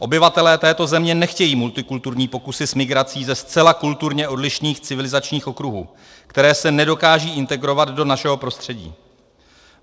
Obyvatelé této země nechtějí multikulturní pokusy s migrací ze zcela kulturně odlišných civilizačních okruhů, které se nedokážou integrovat do našeho prostředí.